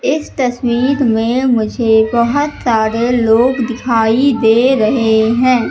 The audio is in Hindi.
इस तस्वीर में मुझे बहोत सारे लोग दिखाई दे रहे हैं।